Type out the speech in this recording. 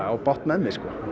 á bágt með mig